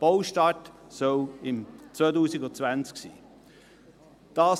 Der Baustart soll im 2020 sein.